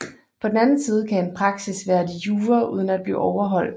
På den anden side kan en praksis være de jure uden at blive overholdt